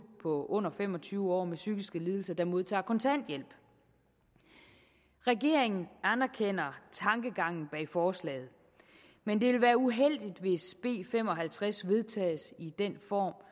unge under fem og tyve år med psykiske lidelser der modtager kontanthjælp regeringen anerkender tankegangen bag forslaget men det vil være uheldigt hvis b fem og halvtreds vedtages i den form